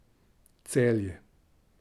Celje.